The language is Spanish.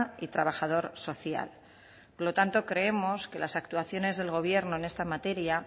y trabajador social por lo tanto creemos que las actuaciones del gobierno en esta materia